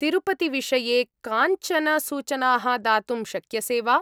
तिरुपतिविषये काञ्चन सूचनाः दातुं शक्यसे वा?